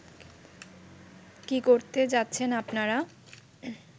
কী করতে যাচ্ছেন আপনারা